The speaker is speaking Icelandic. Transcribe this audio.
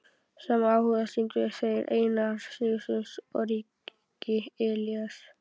Sama áhuga sýndu þeir Einar Sigurðsson ríki og Elías